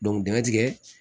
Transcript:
dingɛ tigɛ